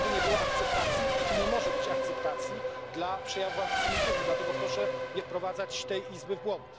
Nigdy nie było akceptacji i nie może być akceptacji dla przejawów antysemityzmu, dlatego proszę nie wprowadzać tej izby w błąd.